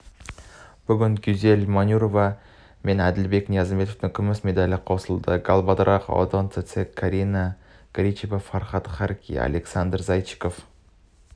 баландин данияр елеусінов алтын алған жазира жаппарқұл менелдос сметов василий левит күміс медаль еншілеген оған